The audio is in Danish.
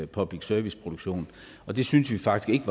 public service produktionen og det syntes vi faktisk